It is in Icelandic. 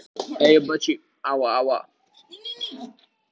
Hún heyrði nokkur blótsyrði en svo fjarlægðist rödd hans.